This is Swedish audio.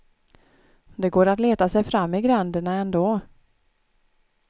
Det går att leta sig fram i gränderna ändå.